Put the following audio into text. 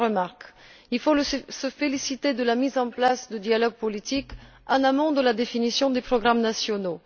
Premièrement, il faut se féliciter de la mise en place du dialogue politique en amont de la définition des programmes nationaux.